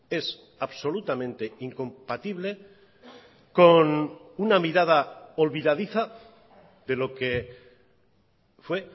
es absolutamente incompatible con una mirada olvidadiza de lo que fue